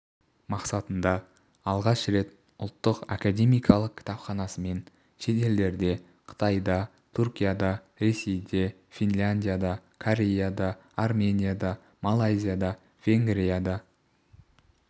мақсатында алғаш рет ұлттық академиялық кітапханасымен шетелдерде қытайда түркияда ресейде финляндияда кореяда арменияда малайзияда венгрияда